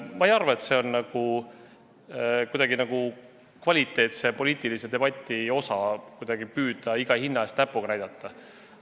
Ma ei arva, et see on kvaliteetse poliitilise debati tunnus, kui püüda iga hinna eest teistele näpuga näidata.